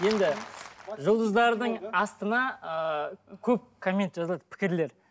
енді жұлдыздардың астына ыыы көп коммент жазылады пікірлер